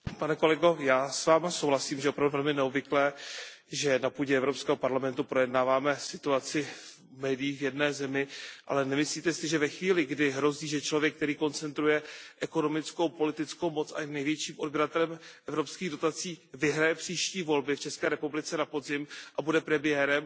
Pane kolego, já s Vámi souhlasím, že je opravdu velmi neobvyklé, že na půdě Evropského parlamentu projednáváme situaci v médiích v jedné zemi, ale nemyslíte si, že ve chvíli, kdy hrozí, že člověk, který koncentruje ekonomickou, politickou moc a je největším odběratelem evropských dotací, vyhraje příští volby v České republice na podzim a bude premiérem,